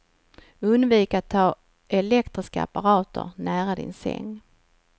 Undvik att ha elektriska apparater nära din säng.